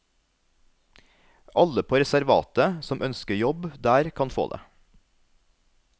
Alle på reservatet som ønsker jobb der kan få det.